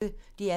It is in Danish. DR P1